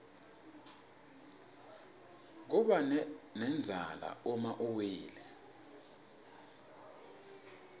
kubanendzala uma uwile